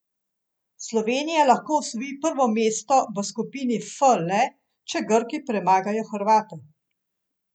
Slovenija lahko osvoji prvo mesto v skupini F le, če Grki premagajo Hrvate.